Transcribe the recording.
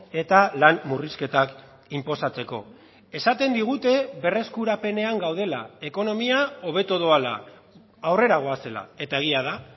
eta lan murrizketak inposatzeko esaten digute berreskurapenean gaudela ekonomia hobeto doala aurrera goazela eta egia da